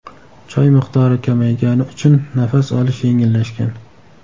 Choy miqdori kamaygani uchun nafas olish yengillashgan.